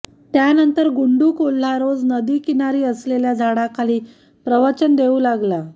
त्यानंतर गुंडू कोल्हा रोज नदीकिनारी असलेल्या झाडाखाली प्रवचन देऊ लागला